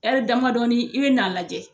damadɔnin i be na a lajɛ.